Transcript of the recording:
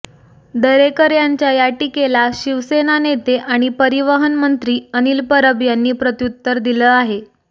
दरेकर यांच्या या टीकेला शिवसेना नेते आणि परिवहन मंत्री अनिल परब यांनी प्रत्युत्तर दिलं आहे